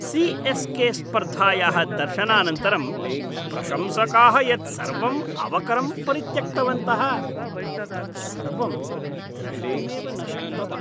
CSK. स्पर्धायाः दर्शनानन्तरं प्रशंसकाः यत् सर्वम् अवकरं परित्यक्तवन्तः, तत् सर्वं द्रष्टुमेव न शक्तवान्।